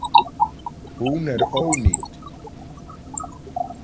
Hún er ónýt